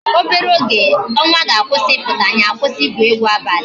Obere oge ọnwa ga-akwụsị ịpụta, anyị akwụsị igwu egwu abalị